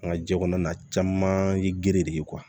An ka jɛ kɔnɔna na caman ye giri de ye